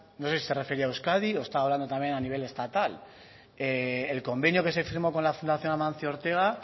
no sé si se refería a euskadi o estaba hablando también a nivel estatal el convenio que se firmó con la fundación amancio ortega